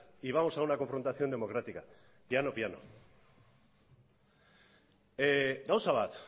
y vamos a una confrontación democrática piano piano gauza bat